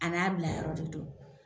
An'a bila yɔrɔ de do.